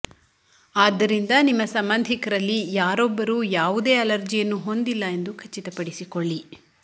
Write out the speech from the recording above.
ಆದ್ದರಿಂದ ನಿಮ್ಮ ಸಂಬಂಧಿಕರಲ್ಲಿ ಯಾರೊಬ್ಬರೂ ಯಾವುದೇ ಅಲರ್ಜಿಯನ್ನು ಹೊಂದಿಲ್ಲ ಎಂದು ಖಚಿತಪಡಿಸಿಕೊಳ್ಳಿ